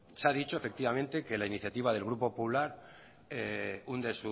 se ha dicho efectivamente que la iniciativa del grupo popular hunde